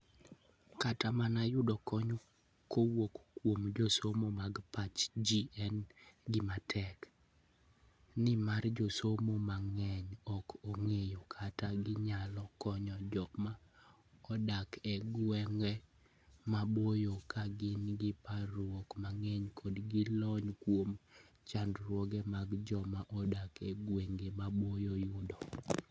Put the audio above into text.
Kata mana yudo kony kowuok kuom josomo mag pach ji en gima tek, nimar josomo mang'eny ok ong'eyo kaka ginyalo konyo joma odak e gwenge maboyo ka gin gi parruok mang'eny kendo gi lony kuom chandruoge ma joma odak e gwenge maboyo yudo.